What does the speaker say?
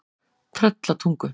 Tröllatungu